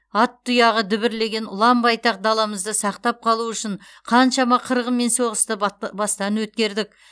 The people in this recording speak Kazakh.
ат тұяғы дүбірлеген ұлан байтақ даламызды сақтап қалу үшін қаншама қырғын мен соғысты бат бастан өткердік